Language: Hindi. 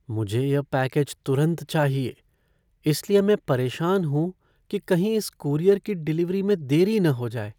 मुझे यह पैकेज तुरंत चाहिए, इसलिए मैं परेशान हूँ कि कहीं इस कूरियर की डिलीवरी में देरी न हो जाए।